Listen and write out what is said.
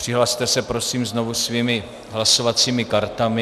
Přihlaste se prosím znovu svými hlasovacími kartami.